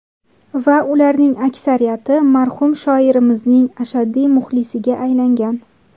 Va ularning aksariyati marhum shoirimizning ashaddiy muxlisiga aylangan.